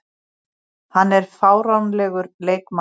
Hann er fáránlegur leikmaður.